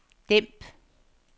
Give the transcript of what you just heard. dæmp